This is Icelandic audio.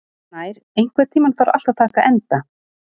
Snær, einhvern tímann þarf allt að taka enda.